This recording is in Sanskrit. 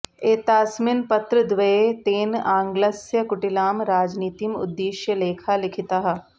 एतास्मिन् पत्रद्वये तेन आङग्लस्य कुटिलां राजनीतिम् उद्दिश्य लेखाः लिखिताः